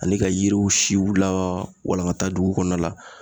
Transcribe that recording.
Ani ka yiriw siw la walankata dugu kɔnɔna la